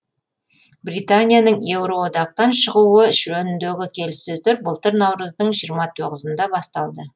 британияның еуроодақтан шығуы жөніндегі келіссөздер былтыр наурыздың жиырма тоғызында басталды